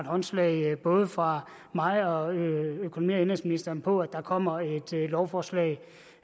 håndslag både fra mig og og indenrigsministeren på at der kommer et lovforslag